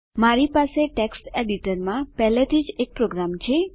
મારી પાસે ટેક્સ્ટ એડીટરમાં પહેલાથી જ એક પ્રોગ્રામ છે